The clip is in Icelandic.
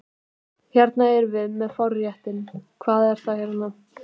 Hérna erum við með forréttinn, hvað er þetta hérna?